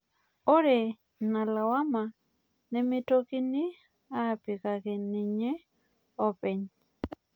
Ore ina lawama nemeitokini apikaki ninye openy